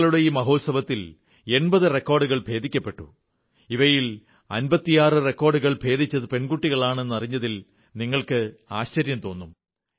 കളികളുടെ ഈ മഹോത്സവത്തിൽ 80 റെക്കോഡുകൾ ഭേദിക്കപ്പെട്ടു ഇവയിൽ 56 റെക്കോഡുകൾ ഭേദിച്ചത് പെൺകുട്ടികളാണ് എന്നതറിഞ്ഞാൽ നിങ്ങൾക്ക് ആശ്ചര്യം തോന്നും